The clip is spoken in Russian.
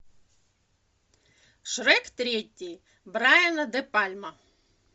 шрек третий брайана де пальма